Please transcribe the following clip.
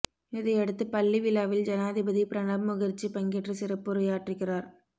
இதையடுத்து பள்ளி விழாவில் ஜனாதிபதி பிரணாப் முகர்ஜி பங்கேற்று சிறப்புரையாற்றுகிறார்